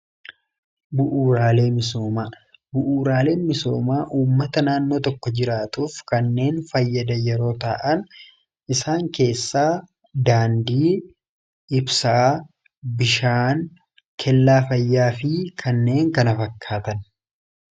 bu'uuraalee misoomaa ummata naannoo tokko jiraatuuf kanneen fayyada yeroo ta'an isaan keessaa daandii, ibsaa, bishaan, kellaa fayyaa fi kanneen kana fakkaatan